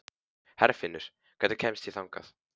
Herfinnur, hvernig kemst ég þangað?